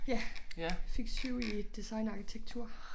Ja fik 7 i design og arkitektur